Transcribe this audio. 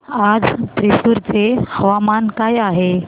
आज थ्रिसुर चे हवामान काय आहे